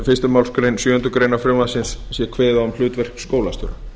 fyrstu málsgrein sjöundu greinar frumvarpsins sé kveðið á um hlutverk skólastjóra